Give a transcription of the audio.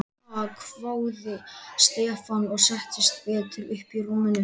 Ha?! hváði Stefán og settist betur upp í rúminu.